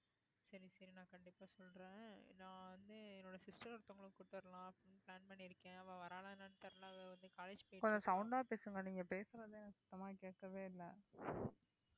கொஞ்சம் sound ஆ பேசுங்க நீங்க பேசுறது வந்து எனக்கு சத்தமா கேட்கவே இல்லை